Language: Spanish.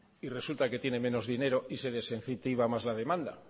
y resulta que tiene menos dinero y se les incentiva más la demanda